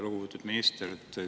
Lugupeetud minister!